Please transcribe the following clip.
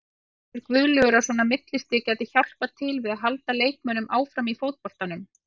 Telur Guðlaugur að svona millistig gæti hjálpað til við að halda leikmönnum áfram í fótboltanum?